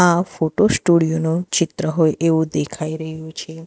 આ ફોટો સ્ટુડિયોનું ચિત્ર હોય એવું દેખાઈ રહ્યું છે.